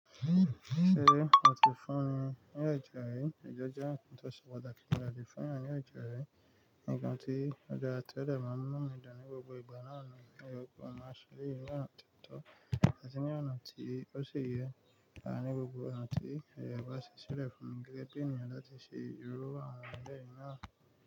Se oti funi ni ẹjẹ ri? Ẹje jẹ nnkan to se pataki gan lati fun èèyàn ni ẹjẹ ri, nnkan tio dara tio dẹ maa n mu inu mi dun ni gbogbo igba naani, oyẹ ki n ma se eleyi ni ona ti o tọ ati ní ọ̀nà tí ó ṣi yẹ, à ni gbogbo ọ̀nà tí aaye ẹ bá ṣi ṣilẹ̀ fún mi gẹ́gẹ́ bí ènìyàn láti ṣe irú àwọn ìwà bẹẹ náà.